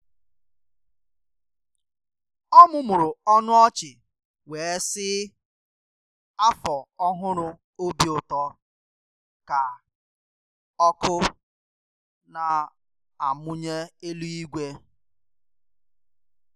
ọmụmụrụ ọnụ ọchị wee sị “Afọ Ọhụrụ Obi Ụtọ” ka ọkụ na-amụnye elu igwe.